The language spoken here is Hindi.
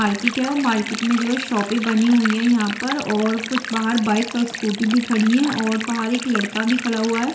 मार्केट है और मार्केट मे जो है शॉपे बनी हुई है यहाँ पर और कुछ बाहर बाइक्स और स्कूटी भी खड़ी है और बाहर एक लड़का भी खड़ा हुआ है।